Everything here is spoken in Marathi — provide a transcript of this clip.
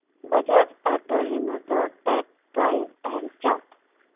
Bajaj auto limited stock price and chart